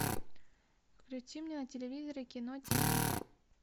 включи мне на телевизоре кино тв